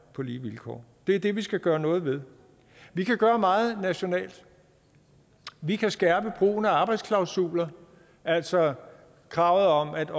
på lige vilkår det er det vi skal gøre noget ved vi kan gøre meget nationalt vi kan skærpe brugen af arbejdsklausuler altså kravet om at